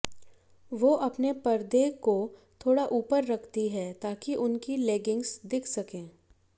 वो अपने पर्दे को थोड़ा ऊपर रखती हैं ताकि उनकी लेगिंग्स दिख सके